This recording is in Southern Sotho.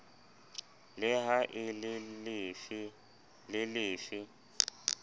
le ha e le lefe